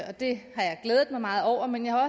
og det har jeg glædet mig meget over men jeg har